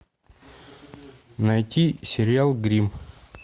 найти сериал гримм